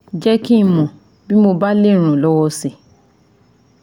Jẹ́ kí n mọ̀ tí mo bá lè ràn ọ́ lọ́wọ́ si